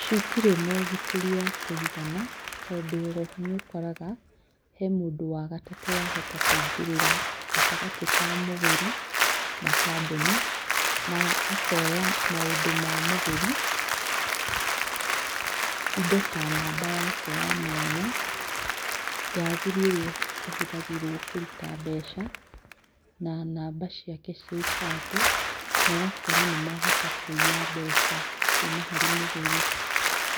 Citirĩ na ũgitĩri wa kũigana, tondũ o ho nĩ ũkoraga he mũndũ wa gatatũ waingĩrĩra, gatagatĩ ka mũgũri na kambuni na akoya maũndũ ma mũgũri, indo ta namba yake ya mwanya ya thiri ĩrĩa ihũthagĩrwo kũruta mbeca na namba ciake cia ibandĩ, nogakora nĩ mahota kũiya mbeca kuma harĩ mũgũri,